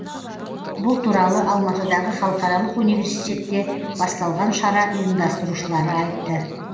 бұл туралы алматыдағы халықаралық университетте басталған шара ұйымдастырушылары айтты